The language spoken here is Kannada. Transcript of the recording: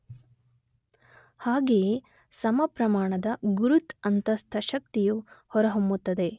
ಹಾಗೇಯೆ ಸಮ ಪ್ರಮಾಣದ ಗುರುತ್ ಅಂತಸ್ಥ ಶಕ್ತಿಯು ಹೊರ ಹೊಮ್ಮುತ್ತದೆ.